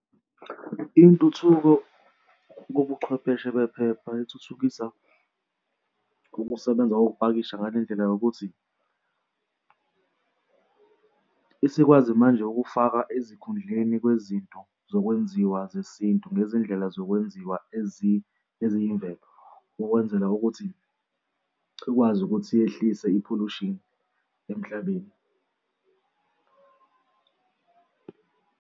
Intuthuko yobuchwepheshe bephepha ithuthukisa ukusebenza kokupakisha ngalendlela yokuthi isikwazi manje ukufaka ezikhundleni kwezinto zokwenziwa kwesintu ngezindlela zokwenziwa eziyimvelo ukwenzela ukuthi ukwazi ukuthi yehlise i-pollution emhlabeni.